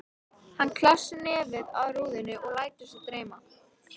Hann klessir nefið að rúðunni og lætur sig dreyma.